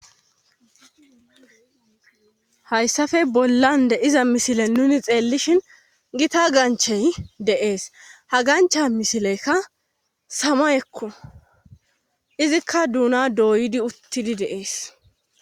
Hayssafe bollande iza misile nuni xeellishin gita ganchey deees ha gancha misileykka sama ekko izikka duuna dooydi uttidi deees.